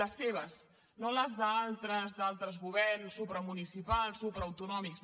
les seves no les d’altres d’altres governs supramunicipals supraautonòmics